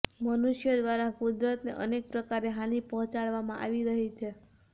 મનુષ્યો દ્વારા કુદરતને અનેક પ્રકારે હાની પહોચાડવામાં આવી રહી છે